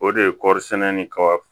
O de ye kɔɔri sɛnɛ ni kaba